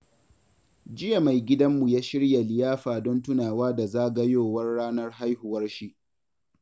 Jiya mai gidanmu ya shirya liyafa don tunawa da zagayowar ranar haihuwarshi.